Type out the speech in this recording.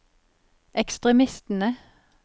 ekstremistene